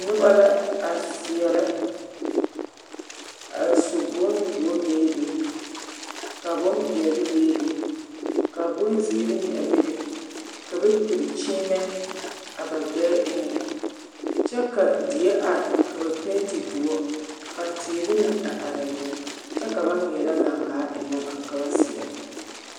Noba la a seɛrɛ a su bondoɔ bebe ka bompeɛle bebe ka bonziiri meŋ a bebe ka ba piri kyiimɛ a ɡbɛɛ eŋɛ kyɛ ka die are ka ba penti doɔ ka teere meŋ a are a be kyɛ ka ba ɡaŋɡaa ennɛ ba ka ba seɛrɛ.